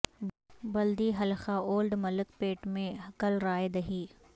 بلدی حلقہ Old Malakpet میں کل رائے دہی